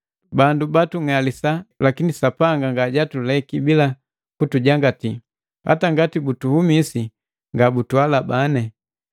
Bandu batung'alisa lakini Sapanga ngajatuleki bila kutujangati, hata ngati butuhumisi nga butuhalabane.